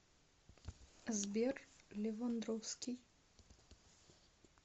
сбер левандовски